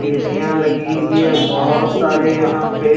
एसीयां लगी हुई है बहुत सारे यहां पे--